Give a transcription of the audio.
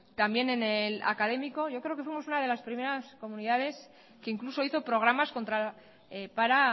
también en el académico yo creo que fuimos una de las primeras comunidades que incluso hizo programas contra para